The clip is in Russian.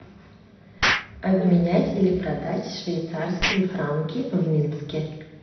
обменять или продать швейцарские франки в минске